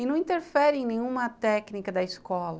E não interfere em nenhuma técnica da escola.